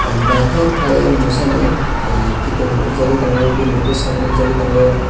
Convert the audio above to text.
nythok klaiei musa ni kitong nugjagui tongo bini bwsak nukjagui tongo.